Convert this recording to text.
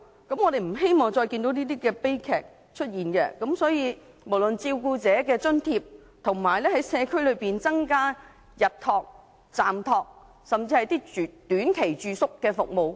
我們不希望再看到這些悲劇發生，所以，有需要考慮增加照顧者的津貼，以及在社區增加日託、暫託甚至短期住宿服務。